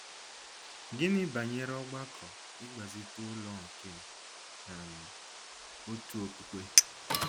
Gịnị banyere ọgbakọ ịgbazite ụlọ nke um òtù okpukpe?